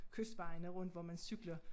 Kystvejene rundt hvor man cykler